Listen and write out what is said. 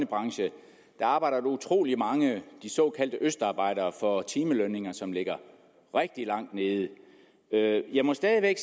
branche arbejder utrolig mange af de såkaldte østarbejdere for timelønninger som ligger rigtig langt nede jeg må stadig væk